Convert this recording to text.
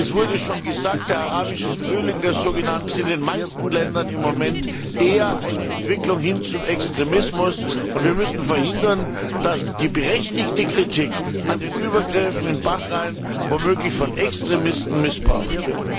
Es wurde schon gesagt, der sogenannte arabische Frühling ist in den meisten Ländern im Moment eher eine Entwicklung hin zum Extremismus, und wir müssen verhindern, das die berechtigte Kritik an den Übergriffen in Bahrain womöglich von Extremisten missbraucht wird.